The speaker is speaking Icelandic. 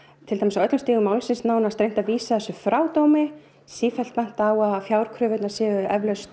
til dæmis á öllum stigum málsins reynt að vísa þessu frá dómi sífellt bent á að fjárkröfur séu